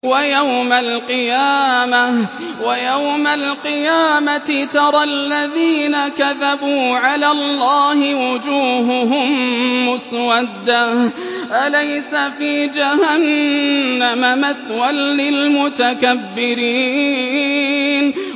وَيَوْمَ الْقِيَامَةِ تَرَى الَّذِينَ كَذَبُوا عَلَى اللَّهِ وُجُوهُهُم مُّسْوَدَّةٌ ۚ أَلَيْسَ فِي جَهَنَّمَ مَثْوًى لِّلْمُتَكَبِّرِينَ